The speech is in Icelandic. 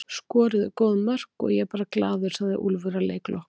Skoruðum góð mörk og ég er bara glaður, sagði Úlfur að leik loknum.